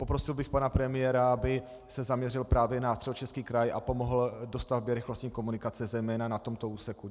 Poprosil bych pana premiéra, aby se zaměřil právě na Středočeský kraj a pomohl dostavbě rychlostní komunikace zejména na tomto úseku.